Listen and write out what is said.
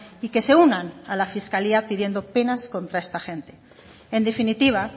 y que se unan a la fiscalía pidiendo penas contra esta gente en definitiva